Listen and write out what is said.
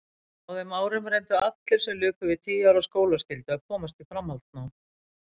Á þeim árum reyndu allir sem luku við tíu ára skólaskyldu að komast í framhaldsnám.